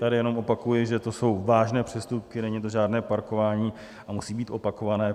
Tady jenom opakuji, že to jsou vážné přestupky, není to žádné parkování, a musejí být opakované.